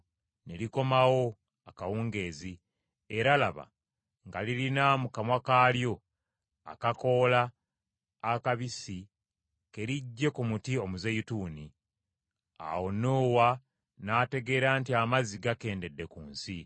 ne likomawo akawungeezi, era laba, nga lirina mu kamwa kaalyo akakoola akabisi ke liggye ku muti omuzeyituuni. Awo Nuuwa n’ategeera nti amazzi gakendedde ku nsi.